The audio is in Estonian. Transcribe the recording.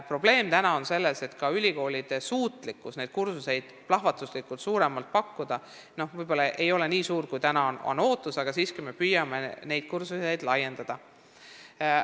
Probleem on selles, et ülikoolide suutlikkus plahvatuslikult rohkem õpet pakkuda ei ole ehk nii suur kui ootus, aga siiski me püüame kursusi laiendada.